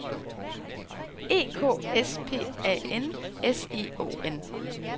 E K S P A N S I O N